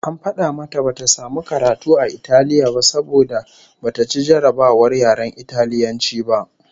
AN fada mata bata samu karatu a Italiya ba saboda bata ci jarrabawar yaren Italiyanci ba